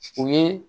U ye